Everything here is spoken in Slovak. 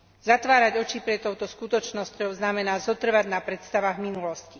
Zatvárať oči pred touto skutočnosťou znamená zotrvať na predstavách minulosti.